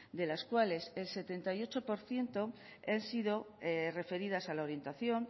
de las cuales el setenta y ocho por ciento han sido referidas a la orientación